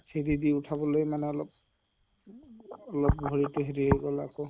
হেৰি দি উঠাবলৈ অলপ অলপ ভৰিতে হেৰি হৈ গʼল আকৌ